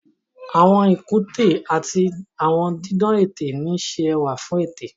Àwọn ikunte ati awọn didan ete n ṣe ẹwa fun ete.